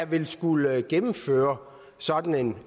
ville skulle gennemføre sådan en